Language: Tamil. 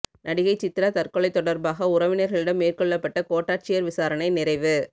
நடிகை சித்ரா தற்கொலை தொடர்பாக உறவினர்களிடம் மேற்கொள்ளப்பட்ட கோட்டாட்சியர் விசாரணை நிறைவு